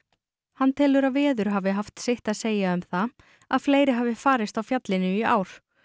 hann telur að veður hafi haft sitt að segja um það að fleiri hafi farist á fjallinu í ár